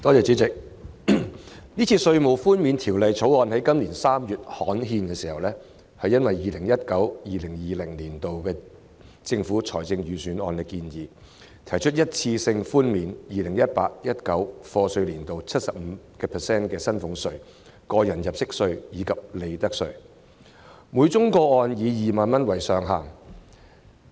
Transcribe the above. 主席，因應 2019-2020 年度財政預算案的建議，《2019年稅務條例草案》在今年3月刊憲，提出一次性寬免 2018-2019 課稅年度 75% 的薪俸稅、個人入息課稅及利得稅，每宗個案以2萬元為上限。